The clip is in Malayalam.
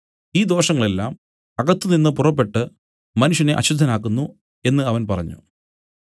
ഈ ദോഷങ്ങൾ എല്ലാം അകത്തുനിന്ന് പുറപ്പെട്ടു മനുഷ്യനെ അശുദ്ധനാക്കുന്നു എന്നും അവൻ പറഞ്ഞു